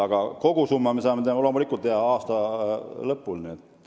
Aga kogusumma me saame loomulikult aasta lõpuks teada.